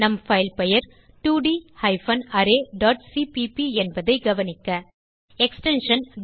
நம் பைல் பெயர் 2ட் ஹைபன் அரே டாட் சிபிபி என்பதை கவனிக்க எக்ஸ்டென்ஷன்